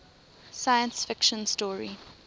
science fiction story